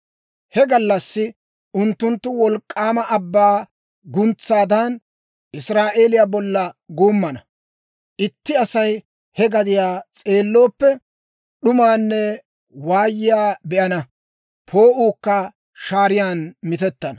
He gallassi unttunttu wolk'k'aama abbaa guntsaadan, Israa'eeliyaa bolla guummana; itti Asay he gadiyaa s'eellooppe, d'umaanne waayiyaa be'ana; poo'uukka shaariyaan mitettana.